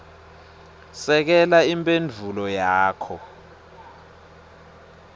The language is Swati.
sekela imphendvulo yakho